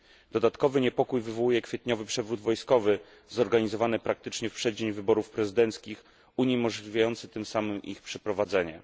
Dodatkowy niepokój wywołuje kwietniowy przewrót wojskowy zorganizowany praktycznie w przeddzień wyborów prezydenckich, uniemożliwiający tym samym ich przeprowadzenie.